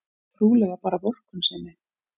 Trúlega bara vorkunnsemi.